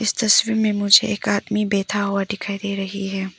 तस्वीर में मुझे एक आदमी बैठा हुआ दिखाई दे रही है।